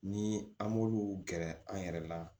Ni an b'olu gɛrɛ an yɛrɛ la